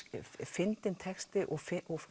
fyndinn texti og